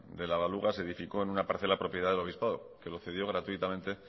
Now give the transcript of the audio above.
de la baluga se edificó en una parcela propiedad del obispado que la cedió gratuitamente